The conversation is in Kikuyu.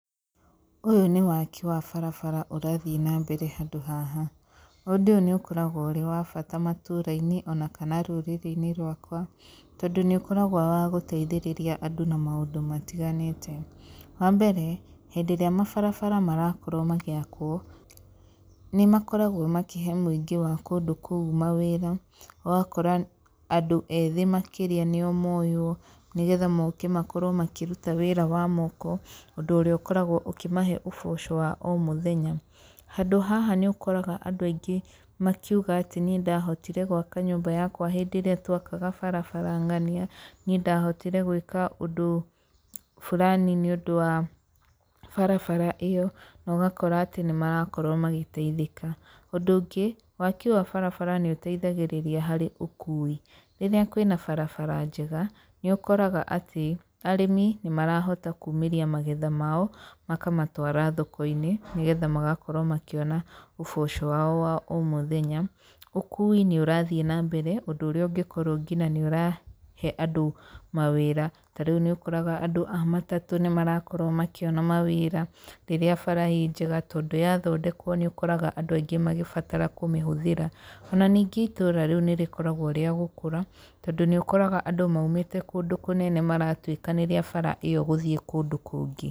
Ũyũ nĩ waki wa barabara ũrathiĩ na mbere handũ haha, ũndũ ũyũ nĩ ũkoragwo ũrĩ wabata matũra-inĩ na kana rũrĩrĩ-inĩ rwakwa, tondũ nĩ ũkoragwo wa gũteithĩrĩria andũ na maũndũ matiganĩte, wa mbere hĩndĩ ĩrĩa mabarabara marakorwo magĩakwo, nĩ makoragwo makĩhe mũingĩ wa kũndũ kũu mawĩra, ũgakora andũ ethĩ makĩria nĩo moywo, nĩgetha moke makorwo makĩruta wĩra wa moko, ũndũ ũrĩa ũkoragwo ũkĩmahe ũboco wa o mũthenya, handũ haha nĩũkoraga andũ aingĩ makiuga atĩ niĩ ndahotire gwaka nyũmba yakwa hĩndĩ ĩrĩa twakaga barabara ng'ania, niĩ ndahotire gwĩka ũndũ fulani nĩũndũ wa barabara ĩyo, nogakora atĩ nĩ marakorwo magĩteithĩka. Ũndũ ũngĩ, waki wa barabara nĩ ũteithagĩrĩria harĩ ũkui, rĩrĩa kwĩna barabara njega, nĩ ũkoraga atĩ, arĩmi nĩ marahota kumĩria magetha mao, makamatwara thoko-inĩ, nĩgetha magakorwo makĩona ũboco wao wa o mũthenya. Ũkui nĩ ũrathiĩ nambere ũndũ ũrĩa ũngĩkorwo nginya nĩ ũrahe andũ mawĩra, ta rĩu nĩ ũkoraga andũ a matatũ nĩ marakorwo makĩona mawĩra, rĩrĩa bara ĩ njega, tondũ yathondekwo nĩũkoraga andũ aingĩ magĩbatara kũmĩhũthĩra, ona ningĩ itũũra rĩu nĩ rĩkoragwo rĩa gũkũra, tondũ nĩ ũkoraga andũ maumĩte kũndũ kũnene maratuĩkanĩria bara ĩyo gũthiĩ kũndũ kũngĩ.